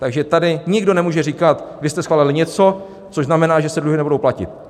Takže tady nikdo nemůže říkat: Vy jste schválili něco, což znamená, že se dluhy nebudou platit.